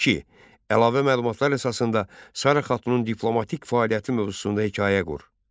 2. Əlavə məlumatlar əsasında Sara Xatunun diplomatik fəaliyyəti mövzusunda hekayə qur.